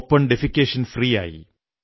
open defecation free ആയി